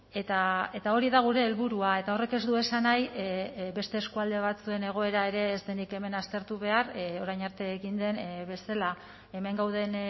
eta hori da gure helburua eta horrek ez du esan nahi beste eskualde batzuen egoera ere ez denik hemen aztertu behar orain arte egin den bezala hemen gauden